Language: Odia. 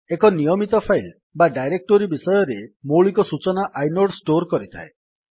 ଏକ ନିୟମିତ ଫାଇଲ୍ ବା ଡାଇରେକ୍ଟୋରୀ ବିଷୟରେ ମୌଳିକ ସୂଚନା ଆଇନୋଡ୍ ଷ୍ଟୋର୍ କରିଥାଏ